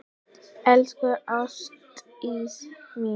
Elsku Ástdís mín.